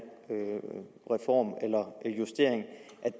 reform eller justering